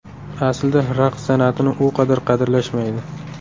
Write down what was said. Aslida raqs san’atini u qadar qadrlashmaydi.